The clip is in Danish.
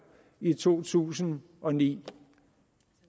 i to tusind og ni